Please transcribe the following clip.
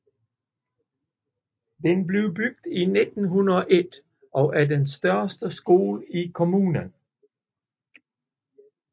Den blev bygget i 1901 og er den største skole i kommunen